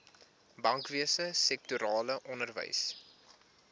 bankwese sektorale onderwys